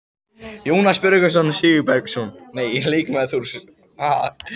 Jónas Björgvin Sigurbergsson, leikmaður Þórs.